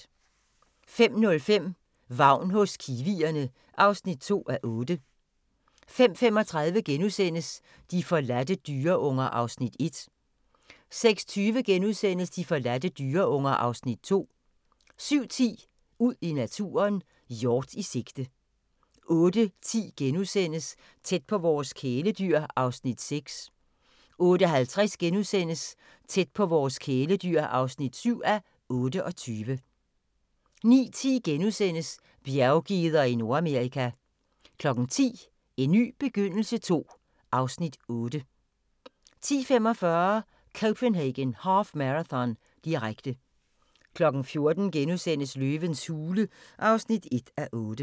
05:05: Vagn hos kiwierne (2:8) 05:35: De forladte dyreunger (Afs. 1)* 06:20: De forladte dyreunger (Afs. 2)* 07:10: Ud i naturen: Hjort i sigte 08:10: Tæt på vores kæledyr (6:28)* 08:50: Tæt på vores kæledyr (7:28) 09:10: Bjerggeder i Nordamerika * 10:00: En ny begyndelse II (Afs. 8) 10:45: Copenhagen Half Marathon, direkte 14:00: Løvens hule (1:8)*